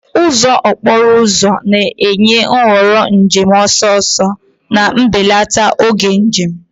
Ụzọ okporo ụzọ na-enye nhọrọ njem ọsọ ọsọ, na-ebelata oge njem.